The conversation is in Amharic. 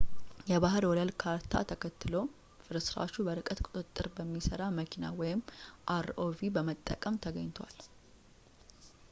የባህር ወለል ካርታ ተከትሎም ፍርስራሹ በርቀት ቁጥጥር በሚሰራ መኪና rov በመጠቀም ተገኝቷል